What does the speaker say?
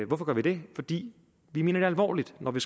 hvorfor gør vi det fordi vi mener det alvorligt når vi